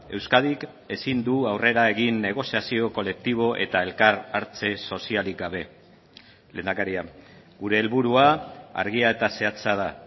euskadik ezin du aurrera egin negoziazio kolektibo eta elkar hartze sozialik gabe lehendakaria gure helburua argia eta zehatza da